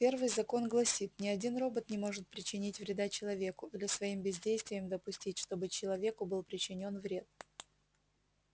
первый закон гласит ни один робот не может причинить вреда человеку или своим бездействием допустить чтобы человеку был причинен вред